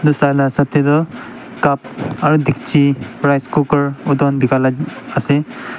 edu sala hisab tae tu cup aro dekchi rice cooker edu han bikala ase.